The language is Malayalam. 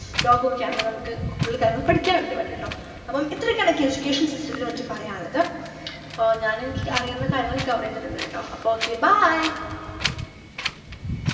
ലോകൊക്കെയാണല്ലോ നമ്മക്ക് പഠിക്കാനുണ്ട് ഒരുപാട് ട്ടോ അപ്പം ഇത്രയൊക്കെയാണ് എനിക്ക് education system ത്തിനെപ്പറ്റി പറയാനുള്ളത് ആഹ് ഞാനെനിക്ക് അറിയുന്ന കാര്യങ്ങൾ cover ചെയ്തിട്ടുണ്ട് ട്ടോ അപ്പൊ okay bye